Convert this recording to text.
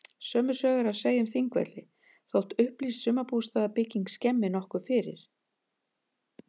Sömu sögu er að segja um Þingvelli þótt upplýst sumarbústaðabyggðin skemmi nokkuð fyrir.